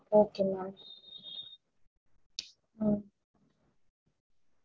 ah four and half அப்படி வந்தாலும் okay தா இல்ல five KG கிட்ட வந்தாலும் okay தா